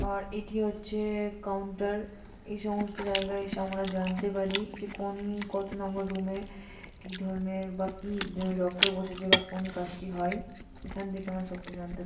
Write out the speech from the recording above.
আর এটি হচ্ছে কাউন্টার এই সমস্ত জায়গায় এসে আমরা জানতে পারি যে কোন কত নম্বর রুম -এ কি ধরনের বা কি ডক্টর বসেছে বা কোন কাজটি হয় এখান থেকে আমরা সব কিছু জানতে পা--